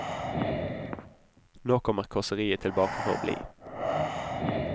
Nå kommer kåseriet tilbake for å bli.